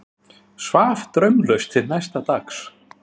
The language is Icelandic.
Svaf draumlaust til næsta dags.